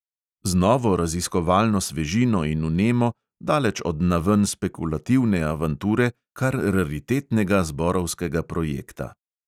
Z novo raziskovalno svežino in vnemo, daleč od naven spekulativne avanture kar raritetnega zborovskega projekta.